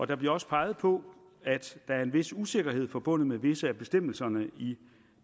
der bliver også peget på at der er en vis usikkerhed forbundet med visse af bestemmelserne i